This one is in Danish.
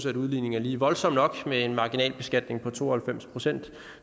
at udligningen er lige voldsom nok med en marginalbeskatning på to og halvfems procent